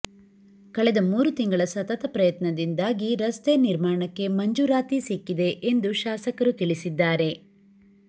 ಕಳೆದ ಮೂರು ತಿಂಗಳ ಸತತ ಪ್ರಯತ್ನದಿಂದಾಗಿ ರಸ್ತೆ ನಿರ್ಮಾಣಕ್ಕೆ ಮಂಜೂರಾತಿ ಸಿಕ್ಕಿದೆ ಎಂದು ಶಾಸಕರು ತಿಳಿಸಿದ್ದಾರೆ